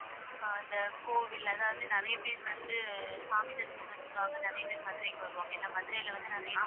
அஹ் இந்த கோவில் அதாவது நிறைய பேர் வந்து சாமி தரிசனத்துக்காக நிறைய பேர் மதுரைக்கு வருவாங்க ஏன்னா மதுரையில வந்து நிறைய